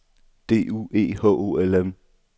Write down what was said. D U E H O L M